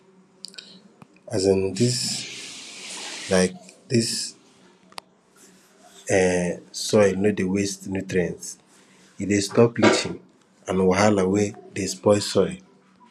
um dis um dis um soil no dey waste nutrients e dey stop leaching and wahala wey dey spoil soil